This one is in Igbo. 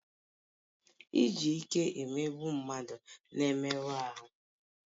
Iji ike emegbu mmadụ na-emerụ ahụ